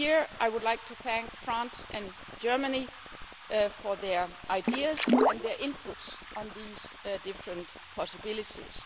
term. I would like to thank France and Germany here for their ideas and their input on these different possibilities.